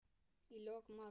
Í lok mars